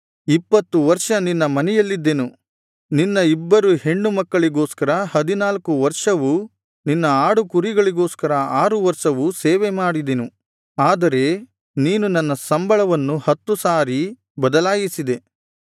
ಇಪ್ಪತ್ತು ವರ್ಷ ನಿನ್ನ ಮನೆಯಲ್ಲಿದ್ದೆನು ನಿನ್ನ ಇಬ್ಬರು ಹೆಣ್ಣು ಮಕ್ಕಳಿಗೋಸ್ಕರ ಹದಿನಾಲ್ಕು ವರ್ಷವೂ ನಿನ್ನ ಆಡು ಕುರಿಗಳಿಗೋಸ್ಕರ ಆರು ವರ್ಷವೂ ಸೇವೆಮಾಡಿದೆನು ಆದರೆ ನೀನು ನನ್ನ ಸಂಬಳವನ್ನು ಹತ್ತು ಸಾರಿ ಬದಲಾಯಿಸಿದೆ